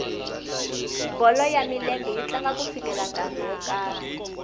bolo ya milenge yi tlanga ku fikela nkarhi wo karhi